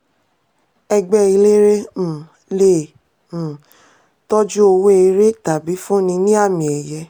ẹgbẹ́ eléré um le um tọ́jú owó eré tàbí fúnni ní àmì-ẹ̀yẹ.